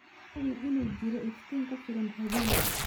Hubi in uu jiro iftiin ku filan habeenkii.